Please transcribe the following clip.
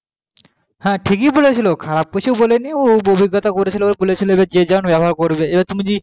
হ্যাঁ ঠিকই বলেছিলো খারাপ কিছু বলেনি উপযোগিতা করে ছিল বলেছিল এবার যে যেমন ব্যবহার করবে এবার তুমি জি